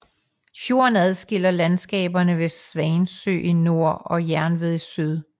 Fjorden adskiller landskaberne Svansø i nord og Jernved i syd